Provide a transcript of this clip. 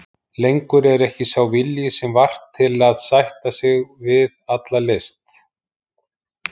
Lengur er ekki sá vilji sem var til að sætta sig við alla list.